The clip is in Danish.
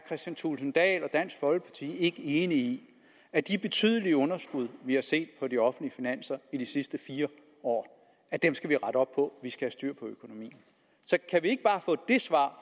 kristian thulesen dahl og dansk folkeparti ikke enig i at de betydelige underskud vi har set på de offentlige finanser i de sidste fire år skal vi rette op på at vi skal have styr på økonomien så kan vi ikke bare få det svar